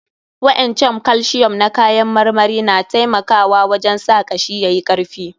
Waƴannan calcium na kayan marmarin na taimaka wajen sa kashi yayi karfi.